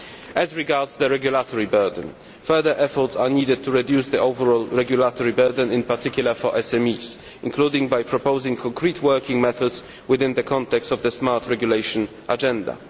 As regards the regulatory burden, further efforts are needed to reduce the overall regulatory burden, in particular for SMEs, including by proposing concrete working methods within the context of the smart regulation agenda.